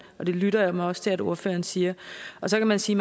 lytter jeg mig også til at ordføreren siger så kan man sige